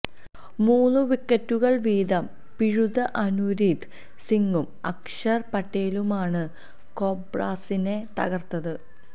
മൂന്നു വിക്കറ്റുകള് വീതം പിഴുത അനുരീത് സിങ്ങും അക്ഷര് പട്ടേലുമാണ് കോബ്രാസിനെ തകര്ത്തത്